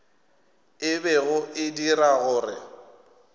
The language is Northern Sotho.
e bego e dira gore